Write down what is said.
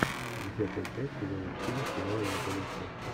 десятая часть сезона четыре сериал анатомия страсти